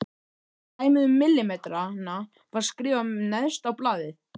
Dæmið um millimetrana var skrifað neðst á blaðið.